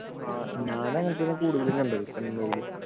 ആഹ് ഞാനും അങ്ങനെ തന്നെയാ കൂടുതലും കണ്ടത് പെൺമയിലു